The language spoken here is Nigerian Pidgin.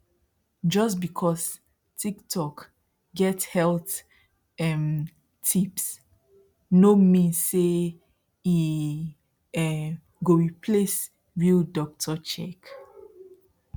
just because tiktok get health um tips no mean say e um go replace real doctor check